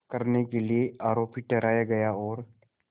करने के लिए आरोपी ठहराया गया और